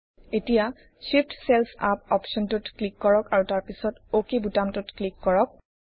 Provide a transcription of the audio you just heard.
এতিয়া Shift cells up অপশ্বনটোত click কৰক আৰু তাৰপিছত অক বুতামটোত ক্লিক কৰক